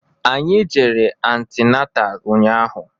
Anyị jere antinatal ụnyaahụ